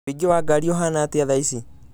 ũingĩ wa ngari ũhana atĩa thaa ici